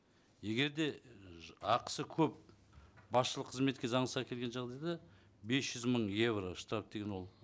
егер де ііі ақысы көп басшылық қызметке заңсыз әкелген жағдайда бес жүз мың евро штраф деген ол